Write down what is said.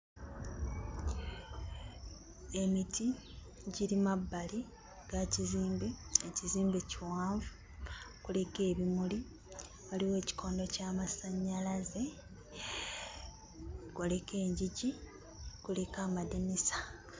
Emiti giri mabbali ga kizimbe. Ekizimbe kiwanvu, kuliko ebimuli, waliwo ekikondo ky'amasannyalaze, kuliko engigi, kuliko amadinisa.